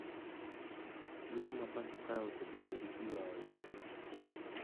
Yiero ma pacho kae osebedo gi tulo ahinya